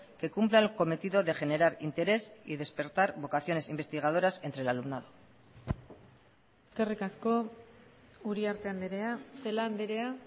que cumpla el cometido de generar interés y despertar vocaciones investigadoras entre el alumnado eskerrik asko uriarte andrea celaá andrea